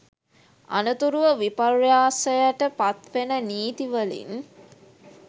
අනතුරුව විපර්යාසයට පත්වෙන නීති වලින්